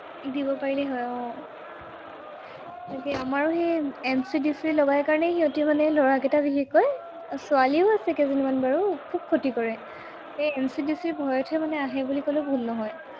দিব পাৰিলেই হয়, আহ তাকে আমাৰো সেই MC, DC লগাই কাৰণে সিহঁতি মানে, লৰাকেইটা বিশেষকৈ, ছোৱালীও আছে কেইজনীমান বাৰু। খুব ক্ষতি কৰে, সেই MC, DC ৰ ভয়তহে মানে আহে বুলি কলেও ভুল নহয়।